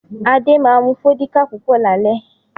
Adé ma mu Fọ́díkà púpọ̀ lálẹ́